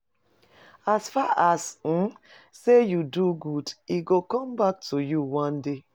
As far as um say, you do good, e go come back to you one day.